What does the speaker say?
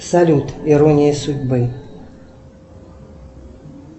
салют ирония судьбы